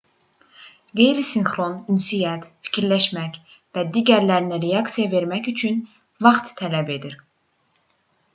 qeyri-sinxron ünsiyyət fikirləşmək və digərlərinə reaksiya vermək üçün vaxt tələb edir